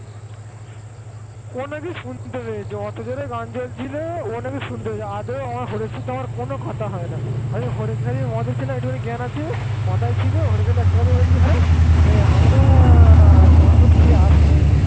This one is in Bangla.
ও নাকি শুনতে পেয়েছে কত জোরে গান চলছিল ও নাকি শুনতে পেয়েছে আদেও ওর সাথে আমার কোন কথা হয়নি। আমি মদ খেলে একটুখানি জ্ঞান আছে মাথায় ছিল আমি খালি একটা কথাই বলেছি ওকে, হ্যাঁ রে আমরা মদ খেয়ে আসতেই